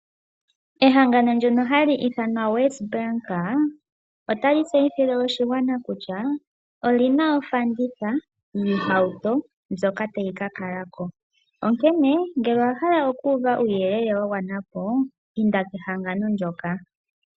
Ehangano ndyono ha li ithanwa WesBank ota li tseyithile oshigwana kutya oli na ofanditha yiihauto ndjoka ta yi ka kala ko. Onkene ngele owa hala oku uva uuyelele wa gwana po, inda kehangano ndyoka.